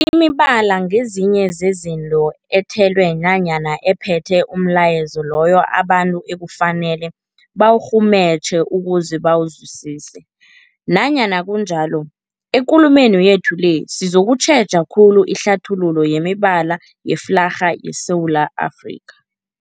Imibala ngezinye zezinto ethelwe nanyana ephethe umlayezo loyo abantu ekufanele bawurhumutjhe ukuze bawuzwisise. Nanyana kunjalo, ekulumeni yethu le sizokutjheja khulu ihlathululo yemibala yeflarha yeSewula Afrika.